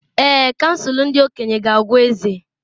Èè, Kansụl ndị okenye ga-agwa eze.